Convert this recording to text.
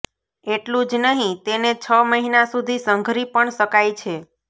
એટલું જ નહીં તેને છ મહિના સુધી સંઘરી પણ શકાય છે